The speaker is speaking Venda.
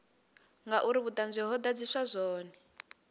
ngauri vhuṱanzi ho ḓadziswa zwone